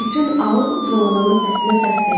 Bütün aul Jolamanın səsinə səs verdi.